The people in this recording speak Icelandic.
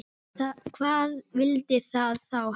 Hvað vill það þá helst?